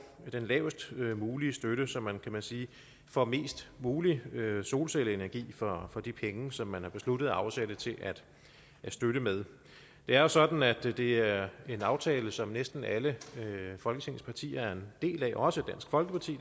den lavest mulige støtte så man kan man sige får mest mulig solcelleenergi for de penge som man har besluttet at afsætte til at støtte med det er jo sådan at det er en aftale som næsten alle folketingets partier er en del af også dansk folkeparti